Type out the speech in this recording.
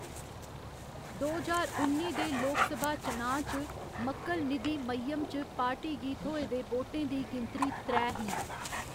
दो ज्हार उन्नी दे लोकसभा चुनांऽ च मक्कल निधि मय्यम च पार्टी गी थ्होए दे वोटें दी गिनतरी त्रै ही।